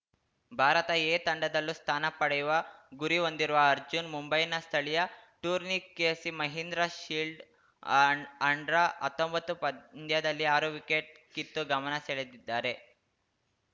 Bharat A ತಂಡದಲ್ಲೂ ಸ್ಥಾನ ಪಡೆಯುವ ಗುರಿ ಹೊಂದಿರುವ ಅರ್ಜುನ್‌ ಮುಂಬೈನ ಸ್ಥಳೀಯ ಟೂರ್ನಿ ಕೆಸಿ ಮಹೀಂದ್ರಾ ಶೀಲ್ಡ್‌ ಅಂಡ್ರಾ ಹತ್ತೊಂಬತ್ತು ಪಂದ್ಯದಲ್ಲಿ ಆರು ವಿಕೆಟ್‌ ಕಿತ್ತು ಗಮನ ಸಳೆದಿದ್ದಾರೆ